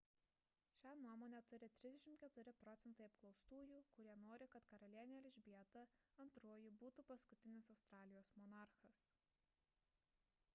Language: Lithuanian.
šią nuomonę turi 34 procentai apklaustųjų kurie nori kad karalienė elžbieta ii būtų paskutinis australijos monarchas